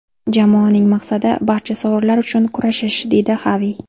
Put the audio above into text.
Jamoaning maqsadi barcha sovrinlar uchun kurashish”, deydi Xavi.